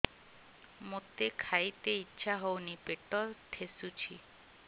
ମୋତେ ଖାଇତେ ଇଚ୍ଛା ହଉନି ପେଟ ଠେସୁଛି